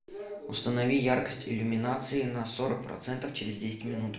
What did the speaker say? установи яркость иллюминации на сорок процентов через десять минут